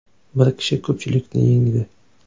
Bir kishi ko‘pchilikni yengdi.